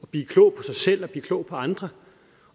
blive klog på sig selv og blive klog på andre